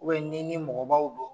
U Bɛn n'i ni mɔgɔbaw do